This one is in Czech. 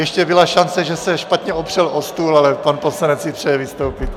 Ještě byla šance, že se špatně opřel o stůl, ale pan poslanec si přeje vystoupit.